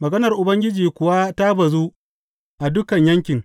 Maganar Ubangiji kuwa ta bazu a dukan yankin.